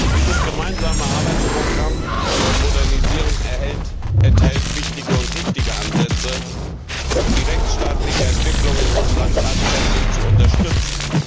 Dieses gemeinsame Arbeitsprogramm zur Modernisierung enthält wichtige und richtige Ansätze, um die rechtsstaatliche Entwicklung in Russland tatkräftig zu unterstützen.